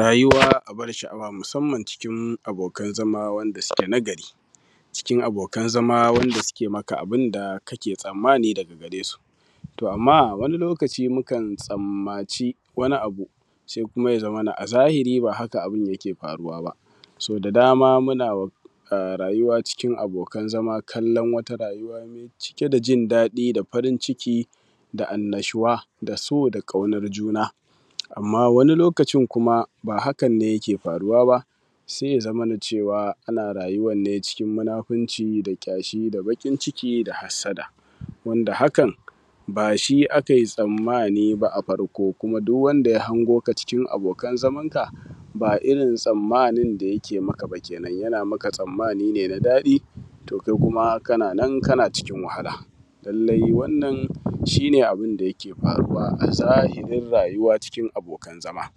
Rayuwa abar sha’awa musamman cikin abokan zama wanda suke na gari, cikin abokan zama wanda suke maka abin da kake tsammani daga gare su To, amma a wani lokaci mukan tsammaci wani abu, se kuma ya zamana a zahiri ba haka abin yake faruwa ba. So da dama muna wa a rayuwa cikin abokan zama kallan wata rayuwa me cike da jin daɗi da farin ciki da annashuwa da so da ƙaunar juna. Amma, wani lokacin kuma, ba hakan ne yake faruwa, se ya zamana cewa ana rayuwan ne cikin munafunci da ƙyashi da baƙin ciki da hassada. Wanda haka, ba shi akai tsammani ba a farko kuma duw wanda ya hango ka cikin abokan zamanka, ba irin tsammanin da yake maka ba kenan, yana maka tsammani ne na daɗi, to kai kuma kana nan, kana cikin wahala. Lallai wannan shi ne abin da yake faruwa a zahirin rayuwa cikin abokan zama.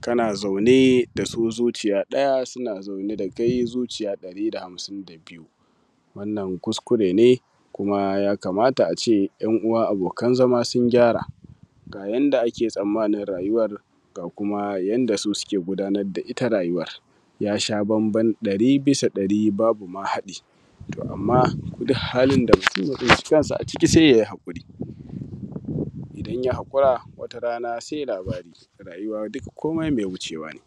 Kana zaune da su zuciya ɗaya, suna zaune da kai zuciya ɗari da hamsin da biyu. Wannan kuskure ne, kuma ya kamata a ce ‘yan uwa abokan zama sun gyara. Ga yanda ake tsammanin rayuwar, ga kuma yanda su suke gudanar da ita rayuwar, ya sha bamban ɗari bisa ɗari babu ma haɗi, to amma duh halin da mutum ya tsinci kansa a ciki se ya yi haƙuri. Idan ya haƙura, wata rana se labari, rayuwa dika komai mai wucewa ne.